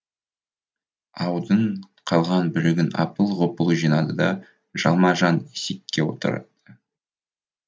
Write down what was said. аудың қалған бөлігін апыл ғұпыл жинады да жалма жан ескекке отыр